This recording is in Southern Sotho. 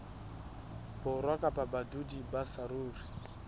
borwa kapa badudi ba saruri